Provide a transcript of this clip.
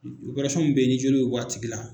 min be ye ni jeli be bɔ tigi la